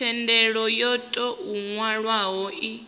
thendelo yo tou nwalwaho i